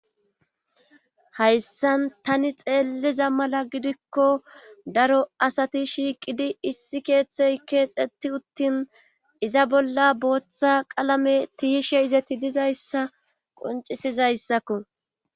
Hayssan tani xeelliza mala gidikko daro asati shiiqidi issi keeththey keexetti uttin iza bolla booththa qalame tiyishe izati dizayssa qoncisizayssakko.